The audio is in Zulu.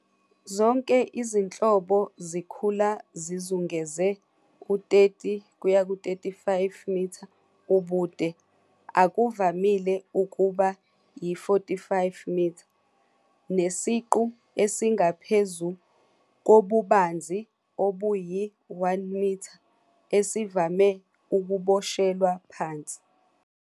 Zonke izinhlobo zikhula zizungeze u-30-35m ubude, akuvamile ukuba yi-45m, nesiqu esingaphezu kobubanzi obuyi-1m, esivame ukuboshelwa phansi.